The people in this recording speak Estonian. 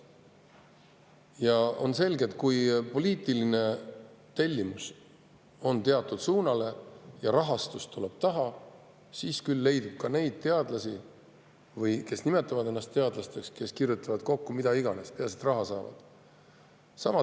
Ja on selge, et kui poliitiline tellimus on teatud suunas ja rahastus tuleb taha, siis küll leidub teadlasi või kes nimetavad ennast teadlasteks, kes kirjutavad kokku mida iganes, peaasi et raha saavad.